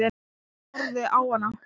Ég horfði á hana.